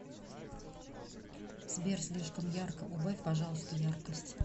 сбер слишком ярко убавь пожалуйста яркость